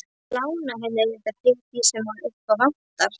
Ég lána henni auðvitað fyrir því sem upp á vantar.